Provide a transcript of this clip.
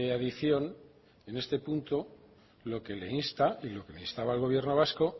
adición en este punto lo que le insta y lo que instaba al gobierno vasco